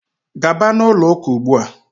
gaba na ụlọ ụka ugbua!